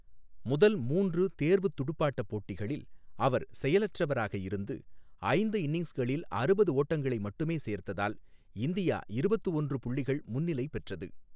முதல் மூன்று தேர்வுத் துடுப்பாட்டப் போட்டிகளில் அவர் செயலற்றவராக இருந்து, ஐந்து இன்னிங்ஸ்களில் அறுபது ஓட்டங்களை மட்டுமே சேர்த்ததால் இந்தியா இருபத்து ஒன்று புள்ளிகள் முன்னிலை பெற்றது.